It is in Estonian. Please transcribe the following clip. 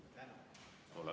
Suur tänu!